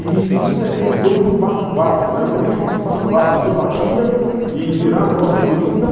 E e tinha aquele jogo do bafo-bafo, né, no Rio chamava-se bafo-bafo, você batia e virava numa figurinha. Então